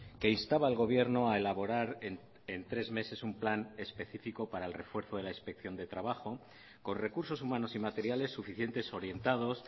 que instaba al gobierno a elaborar en tres meses un plan específico para el refuerzo de la inspección de trabajo con recursos humanos y materiales suficientes orientados